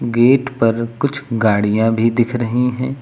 Gate पर कुछ गाड़ियां भी दिख रही हैं।